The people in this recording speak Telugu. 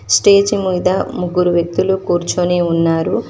స్టేజి ముంద ముగ్గురు వ్యక్తులు కూర్చుని ఉన్నారు.